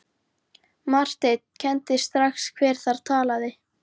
Marteinn kenndi strax hver þar talaði.